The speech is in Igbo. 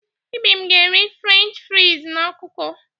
Ibim ga-eri Frenchị friz na ọkụkọ.